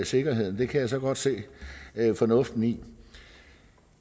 sikkerheden det kan jeg så godt se fornuften i